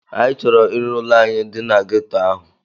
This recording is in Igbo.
Anyị chọrọ ire ụlọ anyị dị na ghetto ahụ.